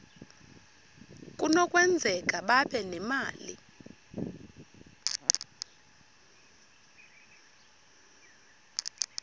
kunokwenzeka babe nemali